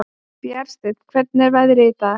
Bjarnsteinn, hvernig er veðrið í dag?